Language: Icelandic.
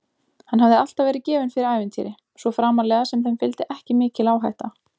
Hann hafði alltaf verið gefinn fyrir ævintýri, svo framarlega sem þeim fylgdi ekki mikil áhætta.